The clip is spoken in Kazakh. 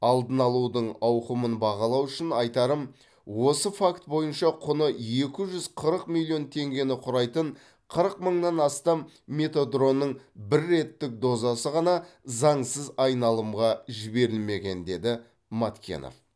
алдын алудың ауқымын бағалау үшін айтарым осы факт бойынша құны екі жүз қырық миллион теңгені құрайтын қырық мыңнан астам метедронның бір реттік дозасы ғана заңсыз айналымға жіберілмеген деді маткенов